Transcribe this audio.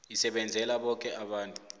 isebenzela boke abantu